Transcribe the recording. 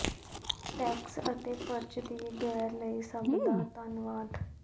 tax ਅਤੇ ਫਰਜ਼ ਦੀ ਗੈਰ ਲਈ ਸਭ ਦਾ ਧੰਨਵਾਦ